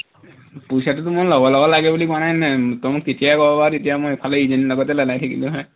পইচাটোতো মই লগে লগে লাগে বুলি কোৱা নাই নহয়, তই মোক তেতিয়াই কব পাৰ তেতিয়া মই ইফালে ইজনীৰ লগতে লেলাই থাকিলো হয়